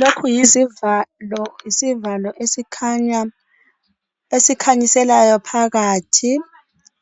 Lokhu yizivalo. Isivalo esikhanya esikhanyiselayo phakathi.